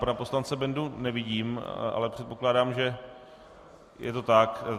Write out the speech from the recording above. Pana poslance Bendu nevidím, ale předpokládám, že je to tak.